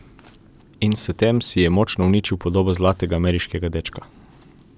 In s tem si je močno uničil podobo zlatega ameriškega dečka.